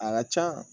A ka can